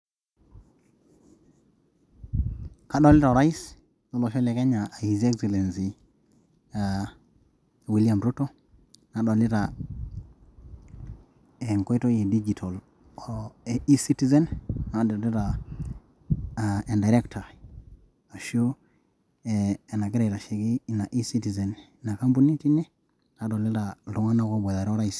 Odolia orais lolosho le Kenya aa his Excellency William Ruto nadolita enkoitoi edijitol o E citizen, nadolita aa ederekita aashu enagira aitasheki Ina ecitizena ena ine nadolita iltung'anak loobotare a Orais...